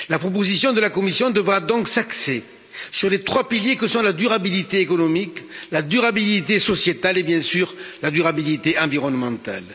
La proposition de la Commission devra donc s'axer sur les trois piliers que sont la durabilité économique, la durabilité sociétale et bien sûr la durabilité environnementale.